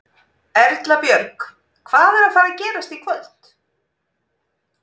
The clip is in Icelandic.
Erla Björg: Hvað er að fara gerast í kvöld?